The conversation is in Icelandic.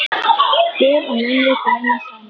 Dyr og munnvik renna saman.